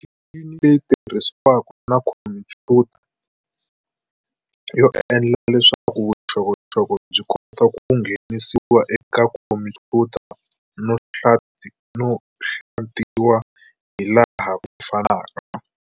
Michumu leyi tirhisiwaka na khompuyuta yo endla leswaku vuxokoxoko byi kota ku nghenisiwa eka khompuyuta no hlantiwa hilaha ku fanaka.